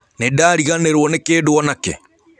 Nĩndarĩganĩrwo nĩ kĩndũ o nakĩ?